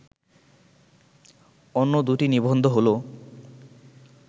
অন্য দুটি নিবন্ধ হলো